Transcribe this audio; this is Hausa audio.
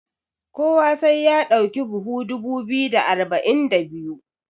kowa sai ya dauki buhu dubu biyu da arba'in da biyu?